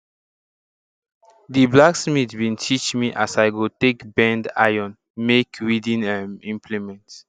di blacksmith bin teach me as i go take bend iron make weeding um implement